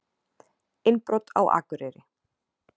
Innbrot á Akureyri